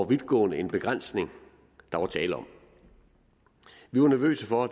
vidtgående en begrænsning der var tale om vi var nervøse for